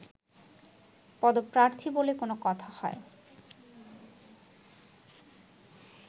পদপ্রার্থী বলে কোনো কথা হয়